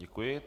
Děkuji.